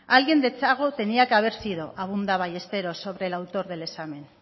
alguien de txago tenía que haber sido abunda ballesteros sobre el autor del examen